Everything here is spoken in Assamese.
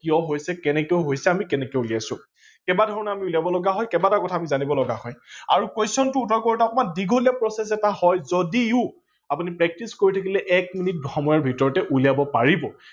কিয় হৈছে কেনেকে হৈছে আমি কেনেকে উলিয়াইছো, কেইবা ধৰনেও আমি উলিয়াব লগা হয়, কেইবাটাও কথা আমি জানিব লগা হয় আৰু question টো উত্তৰ কৰোতে দীঘলীয়া process এটা হয় যদিও আপোনি practice কৰি থাকিলে এক মিনিট সময়ৰ ভিতৰতে আপোনি উলিয়াব পাৰিব।